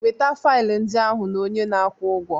Weta faịlụ ndị ahụ na onye na-akwụ ụgwọ